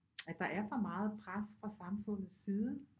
At der er for meget pres fra samfundets side